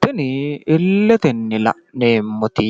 tini illetenni la'neemmoti